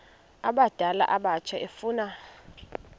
abadala abatsha efuna